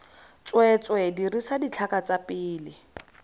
tsweetswee dirisa ditlhaka tsa pele